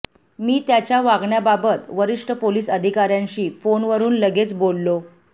मी त्याच्या वागण्याबाबत वरिष्ठ पोलिस अधिकाऱ्यांशी फोनवरून लगेच बोललो